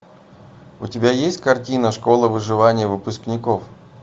у тебя есть картина школа выживания выпускников